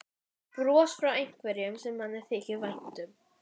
Bros frá einhverjum sem manni þykir vænt um.